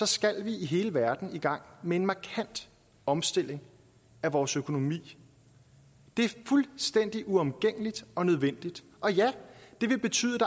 skal vi i hele verden i gang med en markant omstilling af vores økonomi det er fuldstændig uomgængeligt og nødvendigt og ja det vil betyde